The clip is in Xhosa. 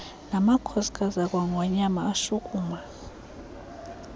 namakhosikazi akwangonyama ashukuma